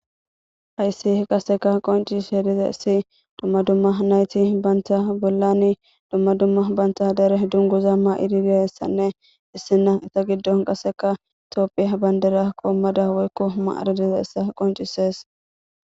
hayssi qaseka qoncis he diza issi dumma dumma nayti banta bollani dumma dumma banta dere dunguza ma7idibiessanne issina eta giddon qaseka itopphia bandera qoommada woykko huma aradiza issa qoncisees